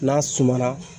N'a suma na